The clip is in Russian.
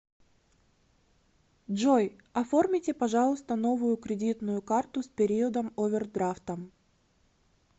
джой оформите пожалуйста новую кредитную карту с периодом овердрафтом